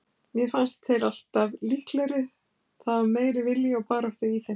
Mér fannst þeir alltaf líklegri, það var meiri vilji og barátta í þeim.